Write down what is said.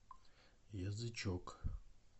язычок